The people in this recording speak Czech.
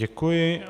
Děkuji.